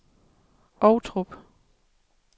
Ovtrup